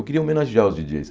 Eu queria homenagear os Di dJeis.